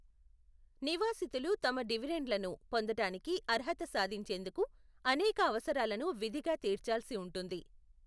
నివాసితులు తమ డివిడెండ్లను పొందడానికి అర్హత సాధించేందుకు అనేక అవసరాలను విధిగా తీర్చాల్సి ఉంటుంది.